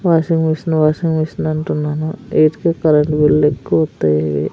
washing machine washing machine అంటున్నాను ఈటికే current bill ఎక్కువ --